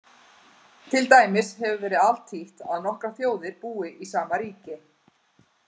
Til dæmis hefur verið altítt að nokkrar þjóðir búi í sama ríki.